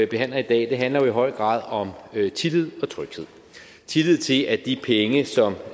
behandler i dag handler jo i høj grad om tillid og tryghed tillid til at de penge som